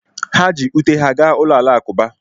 ha ji ute ha gaa ụlọ alakụba